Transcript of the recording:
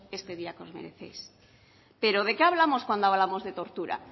este día que os merecéis pero de qué hablamos cuando hablamos de tortura